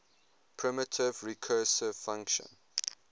primitive recursive function